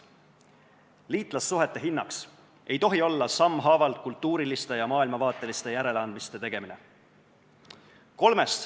Liitlassuhete hinnaks ei tohi olla sammhaaval kultuuriliste ja maailmavaateliste järeleandmiste tegemine.